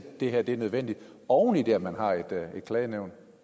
det her er nødvendigt oven i det at man har et klagenævn